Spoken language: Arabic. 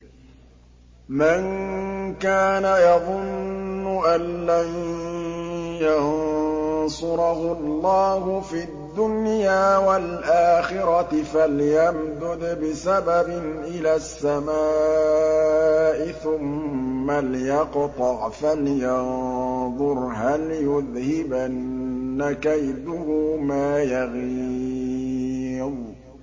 مَن كَانَ يَظُنُّ أَن لَّن يَنصُرَهُ اللَّهُ فِي الدُّنْيَا وَالْآخِرَةِ فَلْيَمْدُدْ بِسَبَبٍ إِلَى السَّمَاءِ ثُمَّ لْيَقْطَعْ فَلْيَنظُرْ هَلْ يُذْهِبَنَّ كَيْدُهُ مَا يَغِيظُ